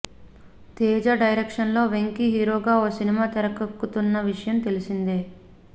తేజ డైరెక్షన్లో వెంకీ హీరోగా ఓ సినిమా తెరకెక్కుతున్న విషయం తెలిసిందే